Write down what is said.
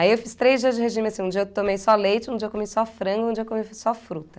Aí eu fiz três dias de regime assim, um dia eu tomei só leite, um dia eu comi só frango, um dia eu comi só fruta.